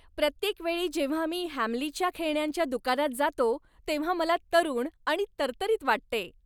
प्रत्येक वेळी जेव्हा मी हॅमलीच्या खेळण्यांच्या दुकानात जातो तेव्हा मला तरुण आणि तरतरीत वाटते!